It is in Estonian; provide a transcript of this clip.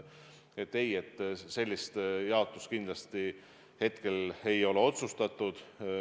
Ei, sellist jaotust kindlasti hetkel ei ole otsustatud.